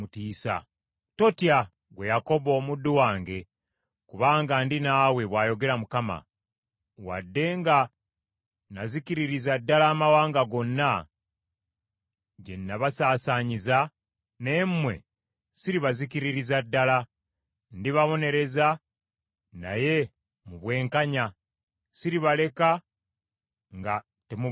Totya, ggwe Yakobo omuddu wange, kubanga ndi naawe,” bw’ayogera Mukama . “Wadde nga nazikiririza ddala amawanga gonna gye nabasaasaanyiza, naye mmwe siribazikiririza ddala. Ndibabonereza naye mu bwenkanya; siribaleka nga temubonerezebbwa.”